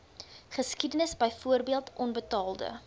geskiedenis byvoorbeeld onbetaalde